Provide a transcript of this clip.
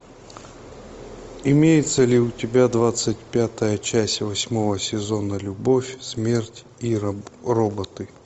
имеется ли у тебя двадцать пятая часть восьмого сезона любовь смерть и роботы